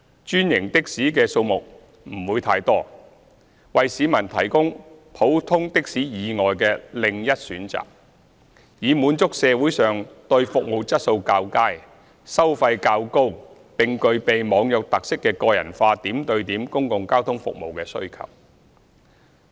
專營的士的數目不會太多，為市民提供普通的士以外的另一選擇，以滿足社會上對服務質素較佳、收費較高並具備"網約"特色的個人化點對點公共交通服務的需求。